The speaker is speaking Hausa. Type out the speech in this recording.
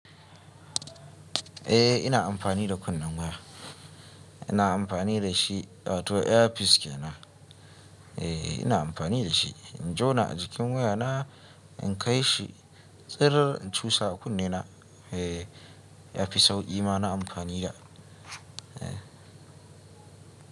Eh ina amfani da kunnen waya. Ina amfani da shi wato ear piece kenan. Eh ina amfani da shi. In jona a jikin waya na in kai shi tsir in cusa a kunnena. Eh ear piece sauƙi ma na amfani da. Eh.